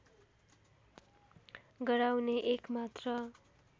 गराउने एक मात्र